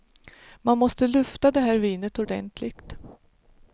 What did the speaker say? Man måste lufta det här vinet ordentligt.